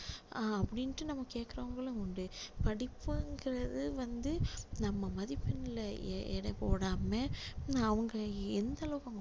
அஹ் அப்படின்னு நம்ம கேக்குறவங்களும் உண்டு படிப்புங்குறது வந்து நம்ம மதிப்பெண்ல எடை போடாம அவங்க எந்த அளவுக்கு